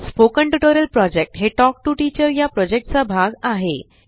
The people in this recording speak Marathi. स्पोकन टयूटोरियल प्रोजेक्ट हे तल्क टीओ टीचर चा भाग आहे